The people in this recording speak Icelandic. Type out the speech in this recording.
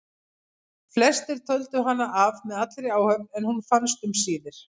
Flestir töldu hana af með allri áhöfn en hún fannst um síðir.